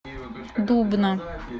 дубна